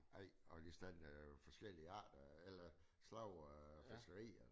Ej og de lige sådan forskellige arter eller slags af fiskeri